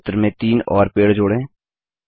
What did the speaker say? इस चित्र में तीन और पेड़ जोड़ें